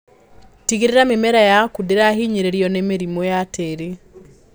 Tigĩrĩra mĩmera yaku ndĩrahinyĩrĩrio nĩ mĩrimũ ya tĩri.